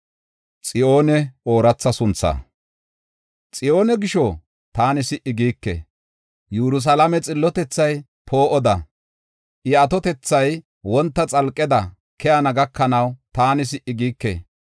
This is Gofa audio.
Xiyoone gisho, taani si77i giike; Yerusalaame xillotethay poo7oda, I atotethay wonta xalqeda keyana gakanaw taani si77i giike.